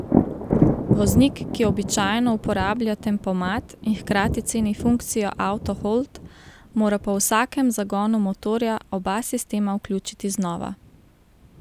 Voznik, ki običajno uporablja tempomat in hkrati ceni funkcijo auto hold, mora po vsakem zagonu motorja oba sistema vključiti znova.